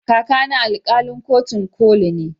Kaka na alkalin kotun koli ne